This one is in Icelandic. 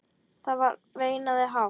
Það er veinað hátt.